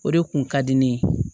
O de kun ka di ne ye